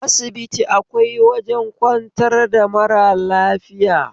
A asibiti akwai wajen kwantar da mara lafiya